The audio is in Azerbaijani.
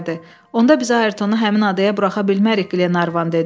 Onda biz Ayrtonu həmin adaya buraxa bilmərik, Qlenarvan dedi.